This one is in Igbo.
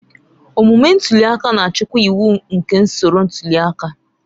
Omume ntuli aka na-achịkwa iwu nke usoro ntuli aka.